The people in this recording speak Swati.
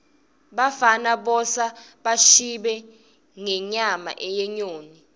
bafana bosa bashibe ngenyama yenyoni